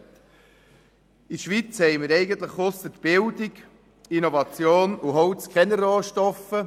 In der Schweiz haben wir im Grunde ausser Bildung, Innovation und Holz keine Rohstoffe.